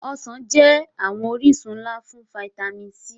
Ọsan jẹ awọn orisun nla ti fitami C